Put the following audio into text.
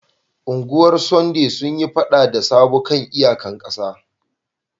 Ungwar Sunday sun yi fada da Sabo kan iyaƙan ƙasa.